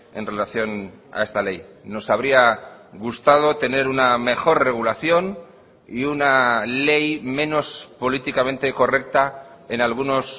en relación a esta ley nos habría gustado tener una mejor regulación y una ley menos políticamente correcta en algunos